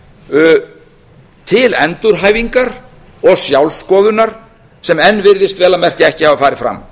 viðbót til endurhæfingar og sjálf skoðunar sem enn virðist vel að merkja ekki hafa farið fram